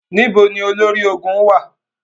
Níbo ni olórí ológun wá à?